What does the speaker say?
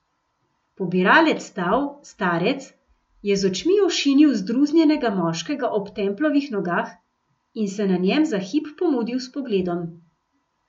Pobiralec stav, starec, je z očmi ošinil zdruznjenega moškega ob Templovih nogah in se na njem za hip pomudil s pogledom.